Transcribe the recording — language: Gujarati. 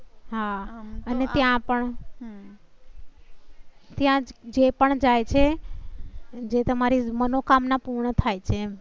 અને ત્યાં પણ. ત્યાં જે પણ જાય છે જે તમારી મનોકામના પૂર્ણ થાય છે